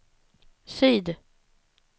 syd